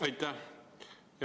Aitäh!